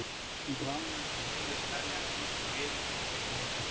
Hún bráðnar undan blíðlegu tali hans, snýr sér við og tekur einnig utan um hann.